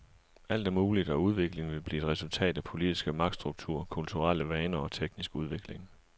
Alt er muligt, og udviklingen vil blive et resultat af politiske magtstrukturer, kulturelle vaner og teknisk udvikling.